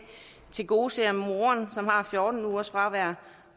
tilgodeser moren som har fjorten ugers fravær